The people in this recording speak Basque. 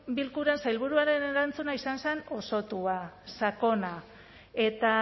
bilkuran sailburuaren erantzuna izan zen osotua sakona eta